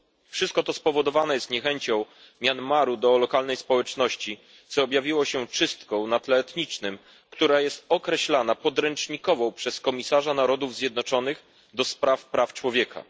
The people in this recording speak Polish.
Wszystko to spowodowane jest niechęcią Myanmaru do lokalnej społeczności, co objawiło się czystką na tle etnicznym, która jest określana jako podręcznikowa przez Wysokiego Komisarza Narodów Zjednoczonych do Spraw Praw Człowieka.